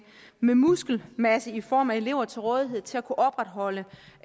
muskelmasse i form af elever til rådighed til at kunne opretholde